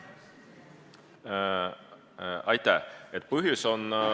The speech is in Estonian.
Aitäh!